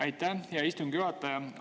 Aitäh, hea istungi juhataja!